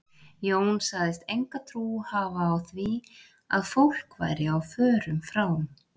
Jón sagðist enga trú hafa á því að fólk væri á förum frá